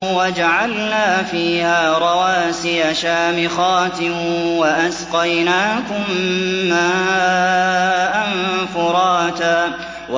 وَجَعَلْنَا فِيهَا رَوَاسِيَ شَامِخَاتٍ وَأَسْقَيْنَاكُم مَّاءً فُرَاتًا